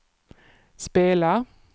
spela